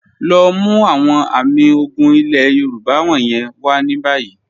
Lọ mú awọn àmì ògún ilẹ̀ Yorùbá wọ̀nyẹn wà ní báyì.